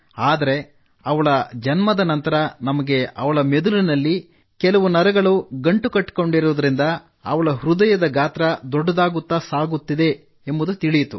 ಆದರೆ ಅವಳ ಜನ್ಮದ ನಂತರ ನಮಗೆ ಅವಳ ಮೆದುಳಿನಲ್ಲಿ ಕೆಲ ನರಗಳು ಗಂಟು ಕಟ್ಟಿಕೊಂಡರುವುದರಿಂದ ಅವಳ ಹೃದಯದ ಗಾತ್ರ ದೊಡ್ಡದಾಗುತ್ತಾ ಸಾಗಿದೆ ಎಂಬುದು ತಿಳಿಯಿತು